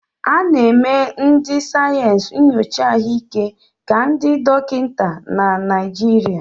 A na-eme ndị sayensị nyocha ahụike ka ndị dọkịta na Naịjirịa.